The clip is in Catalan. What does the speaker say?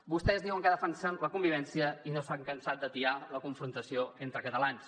vostès diuen que defensen la convivència i no s’han cansat d’atiar la confrontació entre catalans